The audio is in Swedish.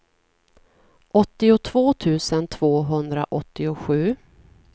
åttiotvå tusen tvåhundraåttiosju